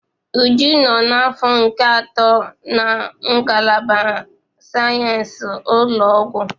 Uju nọ n'afọ nke atọ na ngalaba sayensị ụlọ ọgwụ